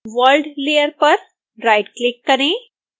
world layer पर right click करें